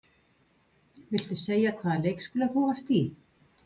Viltu segja hvaða leikskóla þú varst í?